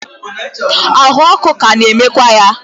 ahụ ọkụ ka na-enwekwa ya.